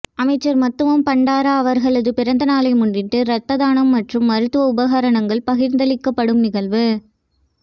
அமைச்சர் மத்தும பண்டார அவர்களது பிறந்த நாளை முன்னிட்டு இரத்த தானம் மற்றும் மருத்துவ உபகரணங்கள் பகிர்ந்தளிக்கப்படும் நிகழ்வு